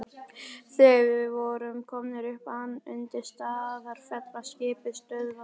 Þegar við vorum komnir upp undir Staðarfell var skipið stöðvað.